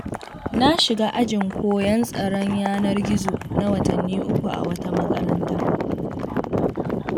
Na shiga ajin koyon tsaron yanar-gizo na watanni 3, a wata makaranta.